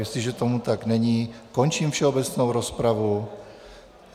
Jestliže tomu tak není, končím všeobecnou rozpravu.